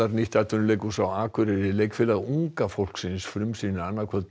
nýtt atvinnuleikhús á Akureyri Leikfélag unga fólksins frumsýnir annað kvöld